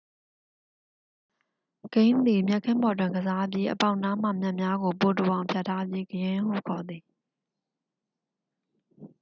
ဂိမ်းသည် မြက်ခင်းပေါ်တွင်ကစားပြီး အပေါက်နားမှာ မြက်များကို ပိုတိုအောင် ဖြတ်ထားပြီး ဂရင်းဟုခေါ်သည်